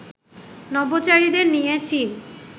নভোচারীদের নিয়ে চীন